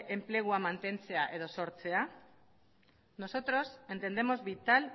enplegua mantentzea edo sortzea nosotros entendemos vital